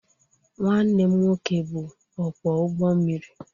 Nwanne m nwoke bụ ọkwọ ụgbọ mmiri.